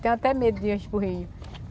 Tenho até medo de para o rio.